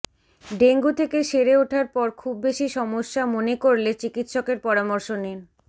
dengue থেকে সেরে ওঠার পর খুব বেশি সমস্যা মনে করলে চিকিৎসকের পরামর্শ নিন